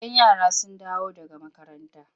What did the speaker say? Idan yara sun dawo daga makaranta.